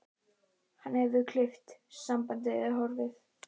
Hann hefur klippt á sambandið, er horfinn.